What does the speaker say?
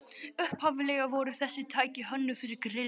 Upphaflega voru þessi tæki hönnuð fyrir grill